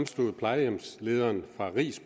stod plejehjemslederen fra riis